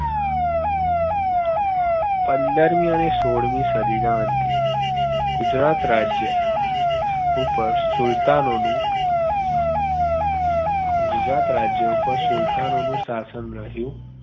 પંદરમી અને સોળમી સદીના અંતે ગુજરાત રાજ્ય ઉપર સુલ્તાનોનું ગુજરાત રાજ્ય ઉપર સુલ્તાનોનું શાસન રહ્યું